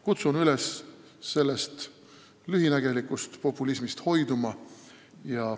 Kutsun üles sellest lühinägelikust populismist hoiduma.